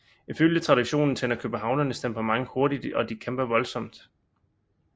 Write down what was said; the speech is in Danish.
Ifølge traditionen tænder københavnernes temperament hurtigt og de kæmper voldsomt